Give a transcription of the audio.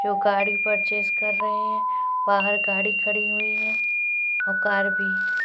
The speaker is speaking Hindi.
जो गाड़ी पर्चेस कर रहे है बाहर गाड़ी खड़ी हुई है और कार भी--